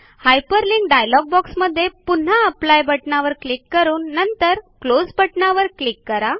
hyperlink डायलॉगबॉक्समध्ये पुन्हा apply बटणावर क्लिक करून नंतर क्लोज बटणावर क्लिक करा